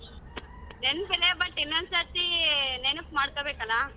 ನೆನ್ಪಿದೆ but ಇನ್ನೊಂದ್ಸತಿ ನೆನ್ಪ ಮಾಡ್ಕೊಬೇಕಲ್ಲ?